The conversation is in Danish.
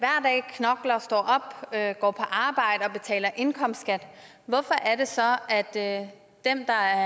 hver går på arbejde og betaler indkomstskat hvorfor er det så at at dem der er